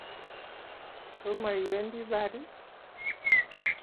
Tomo iwendi Pari?